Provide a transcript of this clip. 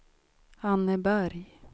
Anneberg